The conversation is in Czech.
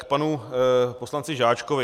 K panu poslanci Žáčkovi.